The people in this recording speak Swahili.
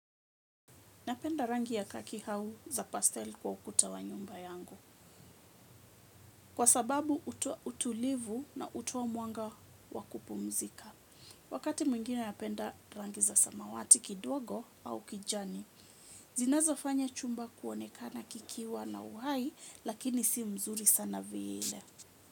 Napenda rangi ya kaki au za pastel kwa ukuta wa nyumba yangu. Kwa sababu utulivu na hutoa mwanga wa kupumzika. Wakati mwingine napenda rangi za samawati kidogo au kijani. Zinazofanya chumba kuonekana kikiwa na uhai lakini si mzuri sana vile.